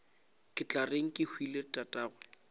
ke tla reng kehwile tatagwe